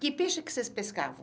Que peixe que vocês pescavam?